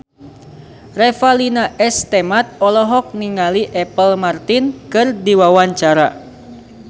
Revalina S. Temat olohok ningali Apple Martin keur diwawancara